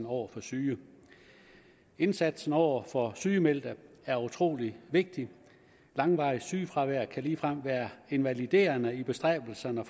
over for syge indsatsen over for sygemeldte er utrolig vigtig langvarigt sygefravær kan ligefrem være invaliderende i bestræbelserne